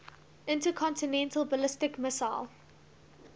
intercontinental ballistic missile